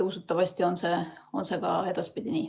Usutavasti on see ka edaspidi nii.